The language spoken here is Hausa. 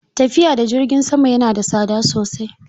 Tafiya da jirgi sama yana da tsada sosai.